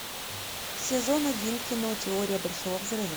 сезон один кино теория большого взрыва